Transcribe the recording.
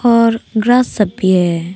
और ग्रास सब भी है।